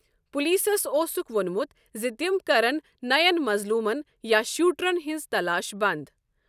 پولیسَس اوسُکھ وۄنمُت زِ تِم کرَن نَیَن مظلوٗمَن یا شوٹرَن ہٕنٛز تلاش بنٛد۔